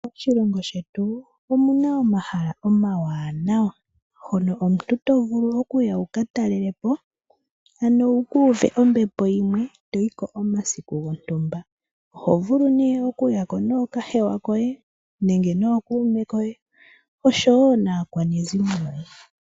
Moshilongo shetu omuna omahala omawanawa, hono omuntu to vulu okuya wuka talelepo, ano wukuuve ombepo yimwe, toyiko omasiku gontumba. Oho vulu nee oku yako nookahewa koye nenge nookume koye osho wo naakwanezimo yoye.